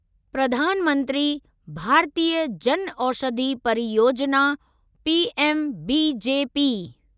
Pradhan Mantri Bharatiya Janaushadhi Pariyojana' PMBJP